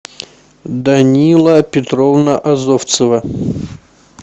данила петровна азовцева